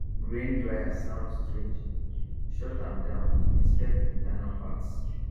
grain dryer sound strange shut am down inspect internal parts